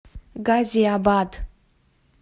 газиабад